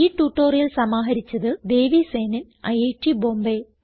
ഈ ട്യൂട്ടോറിയൽ സമാഹരിച്ചത് ദേവി സേനൻ ഐറ്റ് ബോംബേ